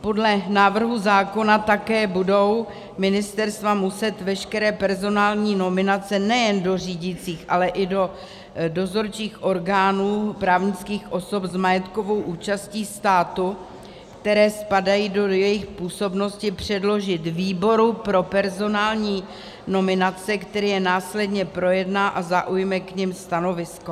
Podle návrhu zákona také budou ministerstva muset veškeré personální nominace nejen do řídících, ale i do dozorčích orgánů právnických osob s majetkovou účastí státu, které spadají do jejich působnosti, předložit výboru pro personální nominace, který je následně projedná a zaujme k nim stanovisko.